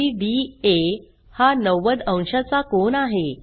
CDA हा 90 अंशाचा कोन आहे